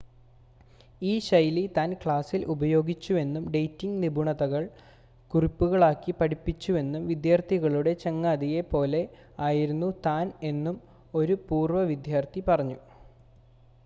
ഈ ശൈലി താൻ ക്ലാസ്സിൽ ഉപയോഗിച്ചുവെന്നും ഡേറ്റിംങ്ങ് നിപുണതകൾ കുറിപ്പുകളാക്കി പഠിപ്പിച്ചുവെന്നും വിദ്യാർത്ഥികളുടെ ചങ്ങാതിയെ പോലെ ആയിരുന്നു താൻ എന്നും ഒരു പൂർവ്വ വിദ്യാർത്ഥി പറഞ്ഞു